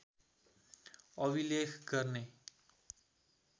अभिलेख गर्ने